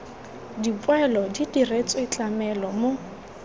dipoelo di diretswe tlamelo mo